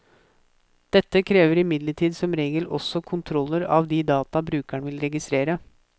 Dette krever imidlertid som regel også kontroller av de data brukeren vil registrere.